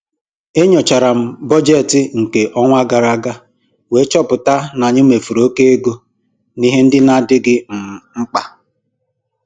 E nyochara m bọjetị nke ọnwa gara aga wee chọpụta n'anyị mefuru oke ego n'ihe ndị n'adịghị um mkpa.